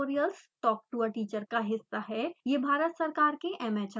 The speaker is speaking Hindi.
spoken tutorials talk to a teacher का हिस्सा है